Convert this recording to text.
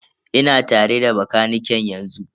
Ina tare da bakaniken yanzu.